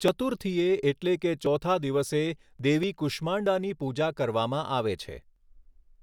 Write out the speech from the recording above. ચતુર્થીએ એટલે કે ચોથા દિવસે, દેવી કુષ્માંડાની પૂજા કરવામાં આવે છે.